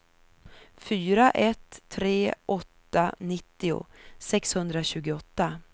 fyra ett tre åtta nittio sexhundratjugoåtta